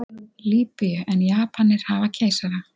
Lýbíu en Japanir hafa keisara.